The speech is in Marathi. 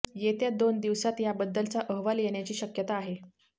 येत्या दोन दिवसात याबद्दलचा अहवाल येण्याची शक्यता आहे